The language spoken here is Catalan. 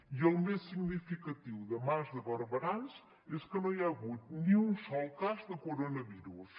i el més significatiu de mas de barberans és que no hi ha hagut ni un sol cas de coronavirus